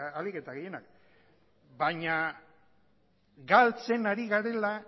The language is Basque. ahalik eta gehienak baina galtzen ari garela